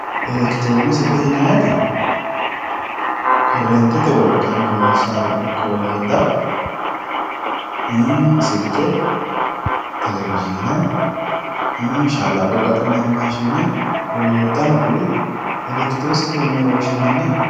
elekitiroonikisete yinanniti korreentete wolqanni loossannota ikko wolootta ii silke telewizhiine ii shallaggo ga'ninanni maashine wollottano kuri elekitiroonikisetewe yini woshshinanni.